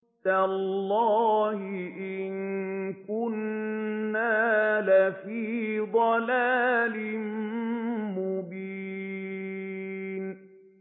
تَاللَّهِ إِن كُنَّا لَفِي ضَلَالٍ مُّبِينٍ